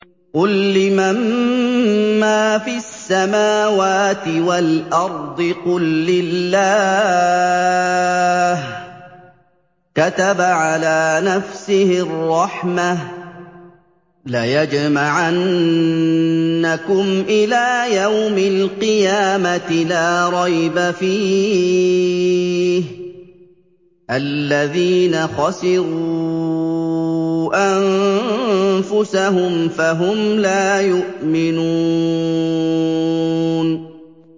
قُل لِّمَن مَّا فِي السَّمَاوَاتِ وَالْأَرْضِ ۖ قُل لِّلَّهِ ۚ كَتَبَ عَلَىٰ نَفْسِهِ الرَّحْمَةَ ۚ لَيَجْمَعَنَّكُمْ إِلَىٰ يَوْمِ الْقِيَامَةِ لَا رَيْبَ فِيهِ ۚ الَّذِينَ خَسِرُوا أَنفُسَهُمْ فَهُمْ لَا يُؤْمِنُونَ